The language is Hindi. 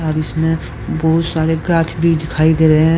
और इसमें बहुत सारे गाछ भी दिखाई दे रहे हैं।